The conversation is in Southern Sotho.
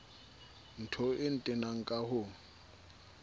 ntho e ntenang ka ho